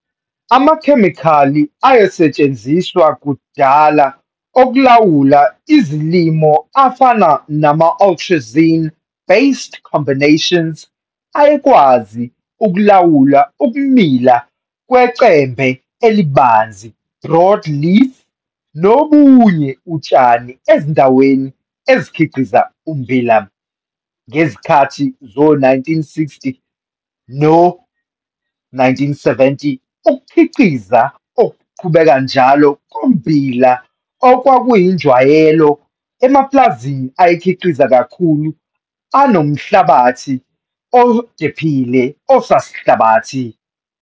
Amakhemikhali ayesetshenziswa kudala okulawula izilimo afana nama-atrazine based combinations, ayekwazi ukulawula ukumila kwecembe elibanzi, broad leaf, nobunye utshani ezindaweni ezikhiqiza ummbila. Ngezikhathi zo-1960 no-1970 ukkukhiqiza okuqhubeke njalo kommbila kwakuyinjwayelo emaplazini ayekhiqiza kakhulu anomhlabathi odephile osasihlabathi.